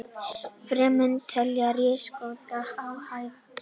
Femínistar telja ríkissaksóknara óhæfan